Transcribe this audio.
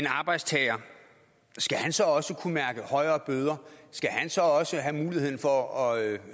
arbejdstager så også kunne mærke højere bøder skal han så også have muligheden for at